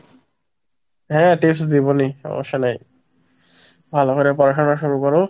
হ্যাঁ tips দিবো নি সমস্যা নাই ভালো করে পড়াশুনা শুরু করো।